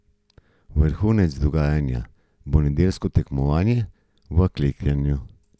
Vrhunec dogajanja bo nedeljsko tekmovanje v klekljanju.